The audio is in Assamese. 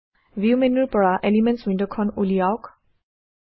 ভিউ মেন্যুৰ পৰা এলিমেণ্টছ ৱিণ্ডখন উলিওৱাওক